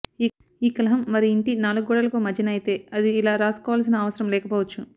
ఈ కలహం వారి ఇంటి నాలుగు గోడలకు మధ్యన అయితే అది ఇలా రాసుకోవాల్సిన అవసరం లేకపోవచ్చు